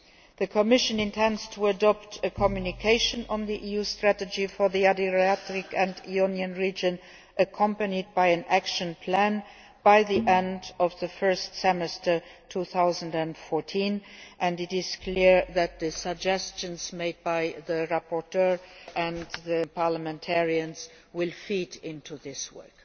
The Commission intends to adopt a communication on the EU strategy for the Adriatic and Ionian region, accompanied by an action plan, by the end of the first semester of 2014, and it is clear that the suggestions made by the rapporteur and parliamentarians will feed into this work.